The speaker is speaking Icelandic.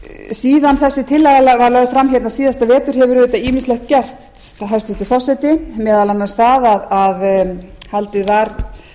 síðan þessi tillaga var lögð fram hérna síðasta vetur hefur auðvitað ýmislegt gerst hæstvirtur forseti meðal annars það að haldið